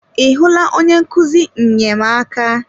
Ị hụla onye nkuzi nnyemaaka?